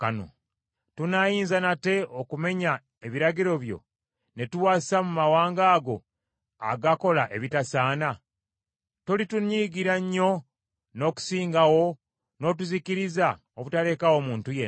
Tunaayinza nate okumenya ebiragiro byo ne tuwasa mu mawanga ago agakola ebitasaana? Tolitunyiigira nnyo n’okusingawo n’otuzikiriza obutalekaawo muntu yenna?